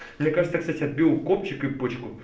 мне кажется я кстати отбил копчик и почку